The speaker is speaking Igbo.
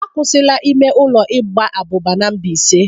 A kwụsị la ime ụlọ igba abụba n'Mbaise.